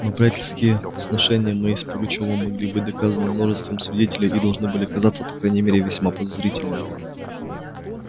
но приятельские сношения мои с пугачёвым могли быть доказаны множеством свидетелей и должны были казаться по крайней мере весьма подозрительными